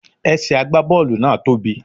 Ẹsẹ̀ àgbá Bọ́ọ̀lù náà tóbì.